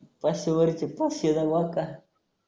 पाचशे भरते पाचशे जमा आहेत का?